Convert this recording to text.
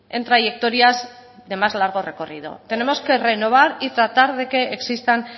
en trayectorias de más largo recorrido tenemos que renovar y tratar de que existan